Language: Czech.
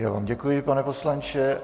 Já vám děkuji, pane poslanče.